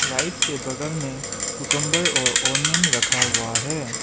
Rice के बगल में कुकंबर और ओनियन रखा हुआ है।